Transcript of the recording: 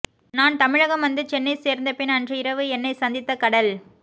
நான் தமிழகம் வந்து சென்னை சேர்ந்தபின் அன்று இரவு என்னைச் சந்தித்த கடல்